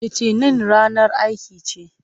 Litinin ranar aiki ce.